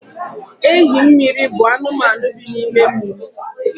Ehimmiri bụ anụmanụ bi n’ime mmiri